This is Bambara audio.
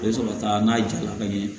A bɛ sɔrɔ ka taa n'a ja la ka ɲɛ